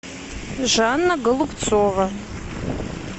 жанна голубцова